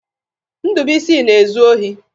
Ndụbụisi na-ezu ohi.